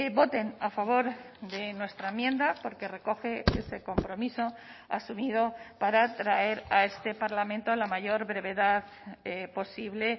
voten a favor de nuestra enmienda porque recoge este compromiso asumido para traer a este parlamento a la mayor brevedad posible